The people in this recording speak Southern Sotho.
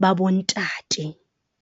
ba bo ntate.